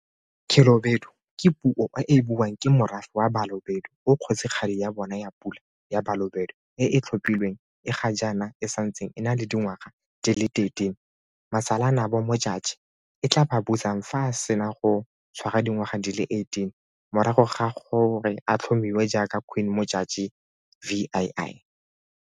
Khelobedu ke puo e e buiwang ke morafe wa Balobedu oo Kgosigadi ya bona ya Pula ya Balobedu e e tlhophilweng e ga jaana e santseng e na le dingwaga di le 13, Masalanabo Modjadji, e tla ba busang fa a sena go tshwara dingwaga di le 18, morago ga gore a tlhomiwe jaaka Queen Modjadji VII.